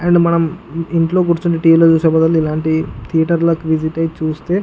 And మనం ఇంట్లో కురుచొని టీ.వీ. లో చూసే బాధల్లు ధియేటర్ లోకి వెళ్లి చూస్తే --